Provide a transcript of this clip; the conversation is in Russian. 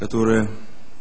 которая